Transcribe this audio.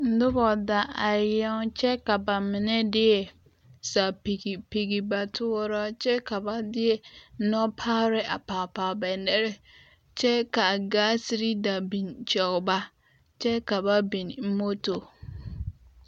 Noba da arɛɛ kyɛ ka ba mine de a sapigi pigi ba toɔraa kyɛ ka ba de nɔpɔgre a pɔge ba nɔɛ kyɛ ka gaasere da biŋ kɔge ba kyɛ ka ba biŋ motor.